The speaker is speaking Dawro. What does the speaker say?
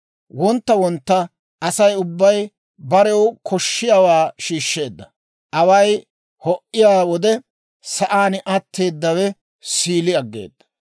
Wontta wontta Asay ubbay barew koshshiyaawaa shiishsheedda; away ho"iyaa wode sa'aan atteeddawe siili aggeeda.